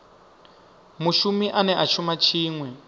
mushumi ane a shuma tshiṅwe